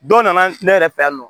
Dɔw nana ne yɛrɛ fɛ yan nɔ